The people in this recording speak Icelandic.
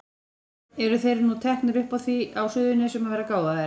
Eru þeir nú teknir upp á því á Suðurnesjum að vera gáfaðir?